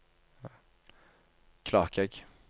Klakegg